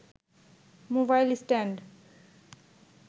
mobile stand